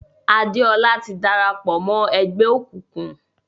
Adéọlá ti dára pọ̀ mọ́ ẹgbẹ́ òkùnkùn.